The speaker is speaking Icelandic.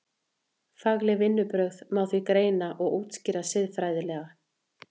Fagleg vinnubrögð má því greina og útskýra siðfræðilega.